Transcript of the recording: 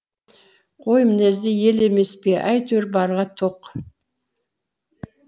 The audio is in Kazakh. қой мінезді ел емес пе әйтеуір барға тоқ